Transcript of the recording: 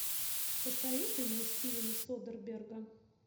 посоветуй мне стивена содерберга